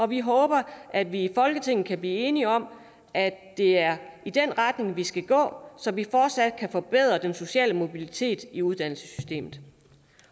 vi håber at vi i folketinget kan blive enige om at det er i den retning vi skal gå så vi fortsat kan forbedre den sociale mobilitet i uddannelsessystemet